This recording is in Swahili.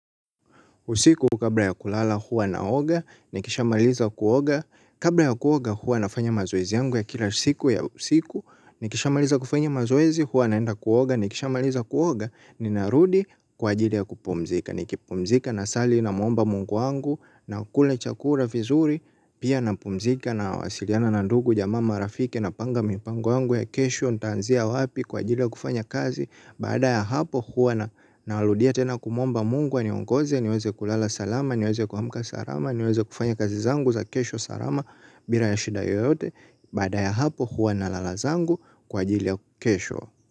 Usiku kabla ya kulala huwa naoga, nikishamaliza kuoga. Kabla ya kuoga huwa nafanya mazoezi yangu ya kila siku ya usiku, nikishamaliza kufanya mazoezi huwa naenda kuoga, nikishamaliza kuoga, ninarudi kwa ajili ya kupumzika. Ni kipumzika na sali na mwomba mungu wangu na kula chakula vizuri pia na pumzika na wasiliana na ndugu jamaa marafiki napanga mipango yangu ya kesho. Nitaanzia wapi kwa ajili ya kufanya kazi baada ya hapo huwa na narudia tena kumwomba mungu aniongoze niweze kulala salama niweze kuamka salama niweze kufanya kazi zangu za kesho salama bila ya shida yoyote baada ya hapo huwa nalala zangu kwa ajili ya kesho.